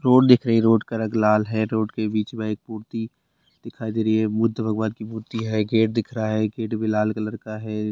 Road दिख रही है रोड का रंग लाल है रोड के बीच में एक मूर्ति दिखाई दे रही है बुद्ध भगवान की मूर्ति है गेट दिख रहा है गेट भी लाल कलर का है।